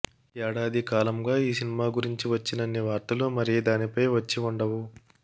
ఏడాది కాలంగా ఈ సినిమా గురించి వచ్చినన్ని వార్తలు మరే దానిపై వచ్చి ఉండవు